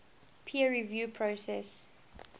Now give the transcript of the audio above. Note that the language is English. peer review process